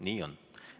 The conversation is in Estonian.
Nii on.